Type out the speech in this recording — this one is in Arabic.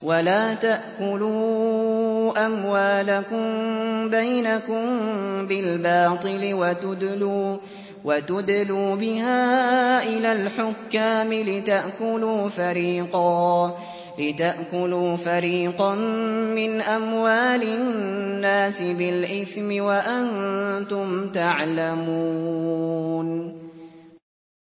وَلَا تَأْكُلُوا أَمْوَالَكُم بَيْنَكُم بِالْبَاطِلِ وَتُدْلُوا بِهَا إِلَى الْحُكَّامِ لِتَأْكُلُوا فَرِيقًا مِّنْ أَمْوَالِ النَّاسِ بِالْإِثْمِ وَأَنتُمْ تَعْلَمُونَ